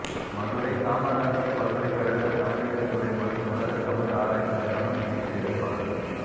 மதுரை காமராசர் பல்கலைக்கழக தமிழியல்துறை மற்றும் உலகத் தமிழ் ஆராய்ச்சி நிறுவனம் இணைந்து ஏற்பாடு